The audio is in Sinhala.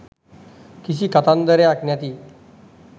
කිසි කතන්දරයක් නැති..